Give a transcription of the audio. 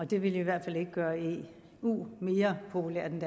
det ville i hvert fald ikke gøre eu mere populært end